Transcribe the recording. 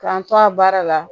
K'an to a baara la